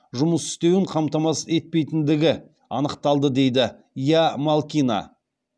жұмыс істеуін қамтамасыз етпейтіндігі анықталды дейді ия малкина